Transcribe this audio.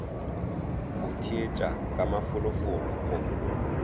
go theetša ka mafolofolo go